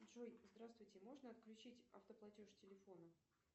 джой здравствуйте можно отключить автоплатеж телефона